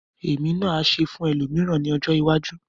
Èmi náà á ṣe fún ẹlòmíràn ní ọjọ́ iwájú.